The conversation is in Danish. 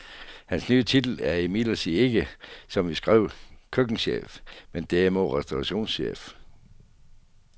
Hans nye titel er imidlertid ikke, som vi skrev, køkkenchef, men derimod restaurantchef.